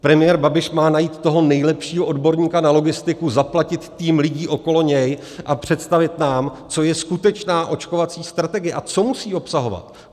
Premiér Babiš má najít toho nejlepšího odborníka na logistiku, zaplatit tým lidí okolo něj a představit nám, co je skutečná očkovací strategie a co musí obsahovat.